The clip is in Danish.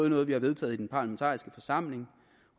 noget vi har vedtaget i den parlamentariske forsamling